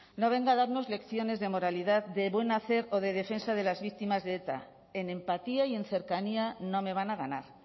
no venga a darnos lecciones de moralidad de buen hacer o de defensa de las víctimas de eta en empatía y en cercanía no me van a ganar